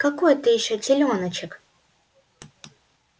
какой ты ещё телёночек